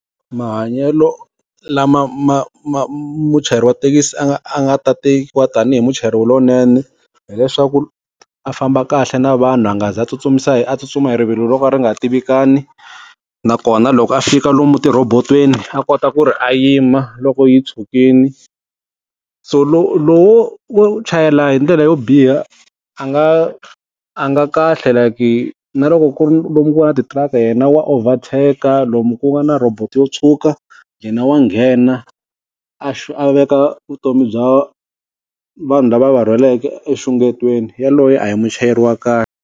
Mahanyelo lama ma ma muchayeri wa thekisi a nga a nga ta tekiwa tanihi muchayeri lowunene, hileswaku a famba kahle na vanhu a nga za tsutsumisa hi a tsutsuma hi rivilo ro ka ri nga tivikani. Nakona loko a fika lomu tirhobotweni a kota ku ri a yima, loko yi tshukile. So lowo wo chayela hi ndlela yo biha, a nga a nga kahle like, na loko ku ri lomu ku nga na ti-truck yena wa overtake, lomu ku nga na robot yo tshuka, yena wa nghena a a veka vutomi bya vanhu lava a va rhwaleke enxungetweni. Yaloye a hi muchayeri wa khale.